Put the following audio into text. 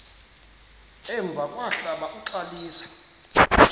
emva kwahlala uxalisa